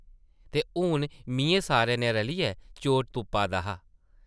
ते हून मिʼयैं सारें नै रलियै चोर तुप्पा दा हा ।